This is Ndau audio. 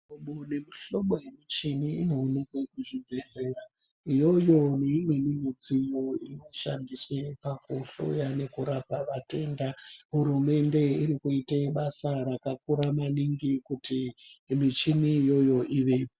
Mu hlobo ne mu hlobo ye muchini ino onekwa ku zvibhedhlera iyoyo ne imweni mudziyo ino shandiswe paku hloye neku rapa vatenda hurumende iri kuite basa raka kura maningi kuti michini iyoyo ivepo.